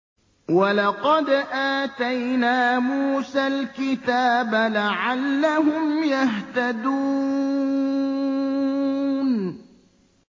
وَلَقَدْ آتَيْنَا مُوسَى الْكِتَابَ لَعَلَّهُمْ يَهْتَدُونَ